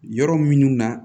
Yɔrɔ minnu na